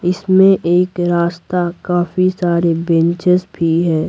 इसमें एक रास्ता काफी सारे बेंचेस भी हैं।